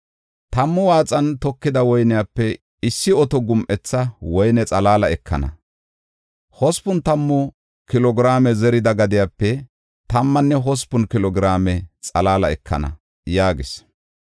Tammu waaxan tokida woyniyape, issi oto gum7etha woyne xalaala ekana. Hospun tammu kilo giraame zerida gadepe, tammanne hospun kilo giraame xalaala ekana” yaagis.